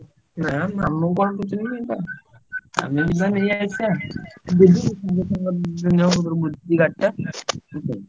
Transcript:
ନାଁ ମାମୁଁ ଙ୍କୁ କଣ ପଚାରିବି ଆମେ ଯିବା ନେଇଆସିବା ଗାଡି ଟା ।